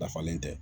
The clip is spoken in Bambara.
Dafalen tɛ